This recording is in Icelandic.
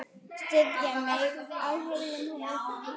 Styðja mig af heilum hug?